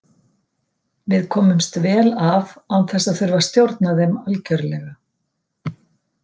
Við komumst vel af án þess að þurfa að stjórna þeim algjörlega.